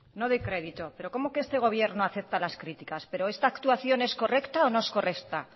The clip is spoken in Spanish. no doy crédito pero cómo que este gobierno acepta las críticas pero esta actuación es correcto o no es correcta